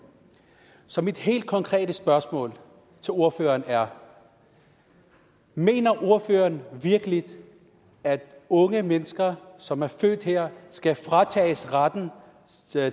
så mit helt konkrete spørgsmål til ordføreren er mener ordføreren virkelig at unge mennesker som er født her skal fratages retten